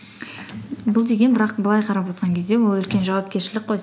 бұл деген бірақ былай қарап отрырған кезде ол үлкен жауапкершілік қой